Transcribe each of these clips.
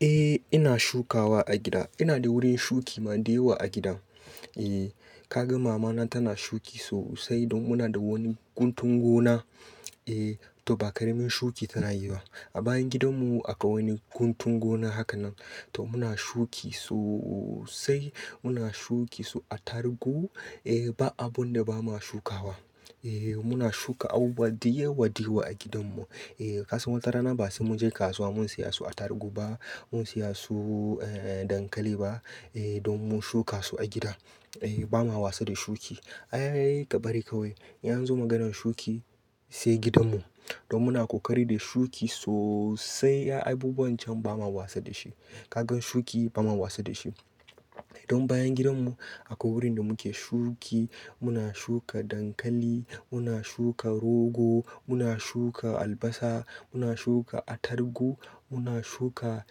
Eh ina shukawa a gida. Ina da wurin shuki ma da yawa a gidan. Eh kaga mama na tana shuki sosai don muna da wani guntun gona. Eh to ba ƙaramin shuki tana yi ba. A bayan gidanmu aƙwai wani guntun gona haka nan. To muna shuki sosai, muna shuki su attargu. Eh ba abunda bama shukawa. Eh muna shuka abubuwa da yawa da yawa a gidanmu. Eh kasan wata rana ba sai muje kasuwa mu siya su attargu ba, mu siya su eh dankali ba, eh don mun shuka su a gida. Eh ba ma wasa da shuki. Ai kabari kawai. In anzo maganan shuki sai gidanmu. Don muna kokari da shuki sosai. Ai abubuwan can bama wasa dashi. Kaga shuki bama wasa dashi. Don bayan gidanmu akwai wurin da muke shuki. Muna shuka dankali, muna shuka rogao, muna shuka albasa, muna shuka attarugu, muna shuka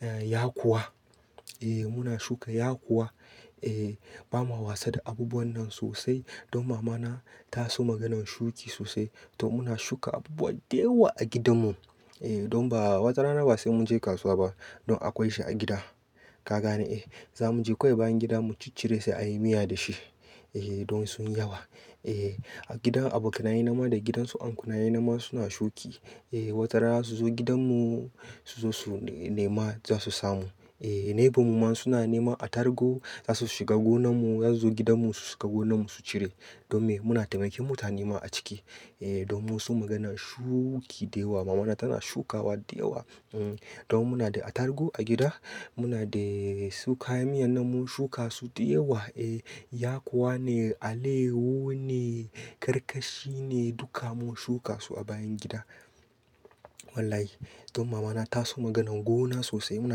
eh yakuwa. Eh muna shuka yakowa. Eh ba ma wasa da abubuwan nan sosai. Don mama na ta so maganan shuki sosai. To muna shuka abubuwa da yawa a gidanmu. Eh don ba wata rana ba sai mun je kasuwa ba. Don akwai shi a gida. Ka gane eh zamu je kawai bayan gida mu ciccire sai a yi miya dashi. Eh don sun yawa. Eh a gidan abokanaye na ma da gidansu ankunaye nam ma suna shuki. Eh wata rana su zo gidanmu su zo su nema za su samu. Eh neighbour mu ma suna nema atargu za su shiga gonanmu, zosu gidanmu su shiga gonanmu su cire. Don me muna taimake mutane ma a ciki. Eh don mun so maganan shuki da yawa. Mama na tana shukawa da yawa. Hmm don muna da atargu a gida. Muna de su kayan miyan nan mun shuka su da yawa. Eh yakuwa ne, aleyawu ne, karkashi ne, duka mun shuka su a bayan gida. Wallahi. Don mama na taso maganan gona sosai. Muna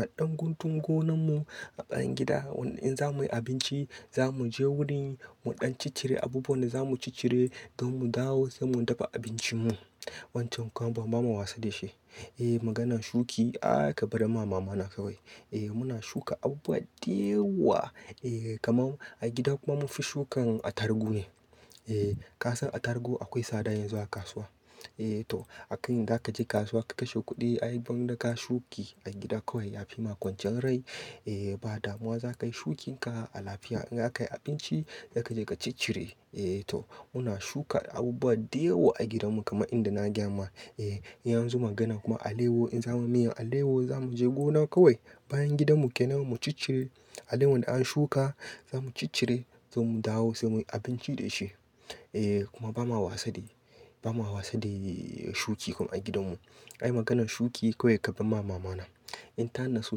da ɗan guntun gonanmu a bayan gida. Wanda in zamu yi abinci, za muje wurin mu ɗan ciccire abubuwan da za mu ciccire don mu dawo sai mun dafa abincinmu. Wancan kuma ba ma wasa da shi. Eh maganan shuki ai kabari ma mama na kawai. Eh muna shuka abubuwa da yawa. Eh kaman a gida kuma mun fi shukan atargu ne. Eh kasan atargu aƙwai tsada yanzu a kasuwa. Eh to a kai in zaka je kasuwa ka kashe kuɗi ai gwanda ka shuki a gida kawai yafi ma kwanciyar rai. Eh ba damuwa za kayi shukin ka a lafiya. In zaka yi abinci, zaka je ka ciccire. Eh to muna shuka abubuwa da yawa a gidanmu kama inda na gaya ma. Eh in anzo maganar kuma aleyawu in zamu yi miyan aleyawu zamu je gona kawai bayan gidanmu kenema mu ciccire aleyawun da an shuka, za mu ciccire, sai mu dawo sai muyi abinci da shi. Eh kuma bama wasa de-, bama wasa da shuki kam a gidanmu. Ai maganan shuki kawai kabarma mama na. In tana so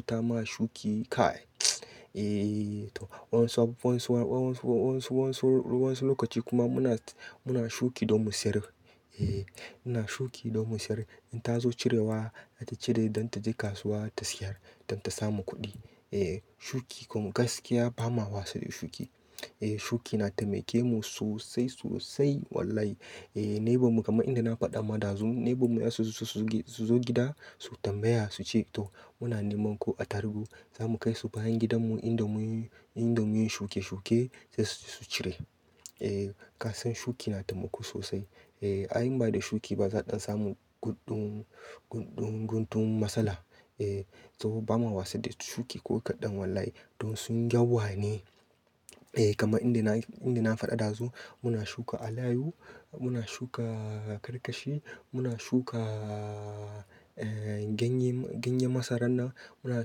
ta ma shuki kai. Eeee to wasu abubuwan su, wasu, wasu lokaci kuma muna, muna shuki don mu sayar. Eeh muna shuki don mu sayar. In tazo cirewa, zata cire don taje kasuwa ta sayar don ta samu kuɗi. Eh shuki kuma gaskiya bama wasa da shuki. Eh shuki na taimake mu sosai, sosai wallahi. Eh neighbour mu kaman inda na faɗa ma ɗazu neighbour mu zasuzo, su zo gida su tambaya suce to muna neman ko atargu. Zamu kaisu bayan gidanmu inda mun yi, inda mun yi shuke shuke sai su cire. Eh ka san shuki na taimako sosai. Eh ai in bada shuki ba za'a ɗan samu gudɗon, gudɗon guntun matsala. Eh saboda ba ma wasa da shuki ko kaɗan wallahi. Don sun yawa ne. Eh kaman inda na, inda na faɗa ɗazu muna shuka alayawu, muna shuka karkashi, muna shuka ganye, ganyen masarar nan, muna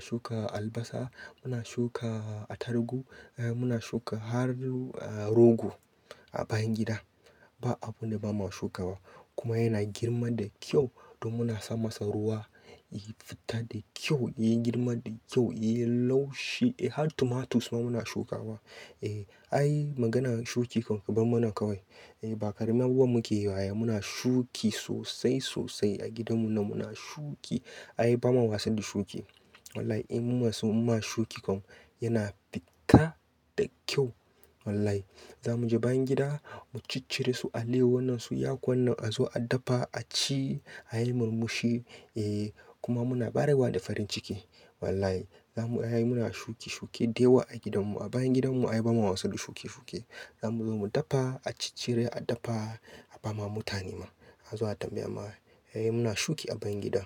shuka albasa, muna shuka atargu, eh muna shuka har rogo a bayan gida. Ba abunda bama shukawa. Kuma yana girma da ƙyau don muna sa masa ruwa. Ya fita da ƙyau, ya girma da ƙyau, ya laushi. Eh har tomatoes ma muna shukawa. Eh ai maganan shuki kan ku barmana kawai. Eh ba ƙaramin abu muke yi ba ai muna shuki sosai, sosai a gidanmu nan muna shuki. Ai bama wasa da shuki. Wallahi in munaso muma shuki kam yana fita da ƙyau wallahi. Zamu je bayan gida mu ciccire su aleyawu nan su, yakuwan nan azo a dafa aci, a yi murmushi. Eh kuma muna ɓarewa da farin ciki wallahi. Zamu, ai muna shuki shuki da yawa a gidanmu a bayan gidanmu ai ba ma wasa da shuke shuke. Zamu zo mu dafa, a ciccire a dafa a bama mutane ma. A zo a tambaya ma. Ae muna shuki a bayan gida.